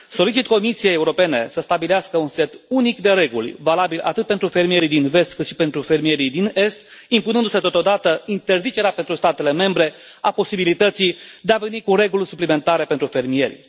Solicit Comisiei Europene să stabilească un set unic de reguli, valabil atât pentru fermierii din Vest, cât și pentru fermierii din Est, impunându se totodată interzicerea pentru statele membre a posibilității de a veni cu reguli suplimentare pentru fermieri.